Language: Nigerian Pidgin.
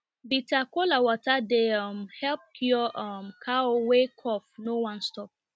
bitter kola water dey um help cure um cow wey cough no wan stop